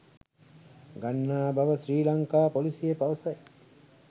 ගන්නා බව ශ්‍රී ලංකා පොලිසිය පවසයි